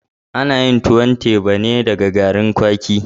Ana yin tuwon teba ne da garin kwaki.